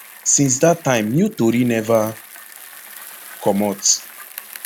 since dat time new tori neva comot